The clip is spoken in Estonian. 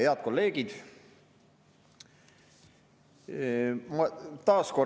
Head kolleegid!